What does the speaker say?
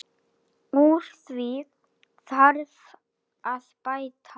Úr því þarf að bæta.